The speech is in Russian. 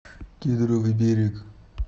кедровый берег